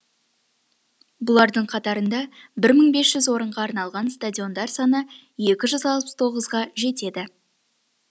бұлардың қатарында бір мың бес жүз орынға арналған стадиондар саны екі жүз алпыс тоғызға жетеді